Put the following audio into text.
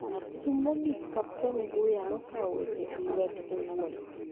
E thum mogik, kapten Guya nokawo weche e lwete owuon